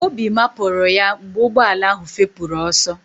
Obi mapụrụ ya mgbe ụgbọala ahụ fepụrụ ọsọ